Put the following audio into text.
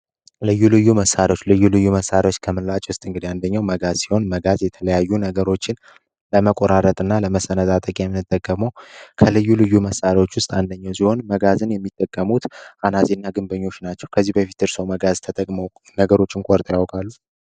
ልዩ ልዩ መሣሪዎች ልዩ ልዩ መሣሪዎች ከምንላች ውስጥ እንግድ አንደኛው መጋዝ ሲሆን መጋዝ የተለያዩ ነገሮችን ለመቆራረት እና ለመሰነዛጠቂ የሚንጠገመው ከልዩ ልዩ መሳሪዎች ውስጥ አንደኛው ሲሆን መጋዝን የሚጠቀሙት አናጺ እና ግንበኞች ናቸው። ከዚህ በፊትር ሰው መጋዝ ተጠግመው ነገሮችን ኮርጠ ያወቃሉ?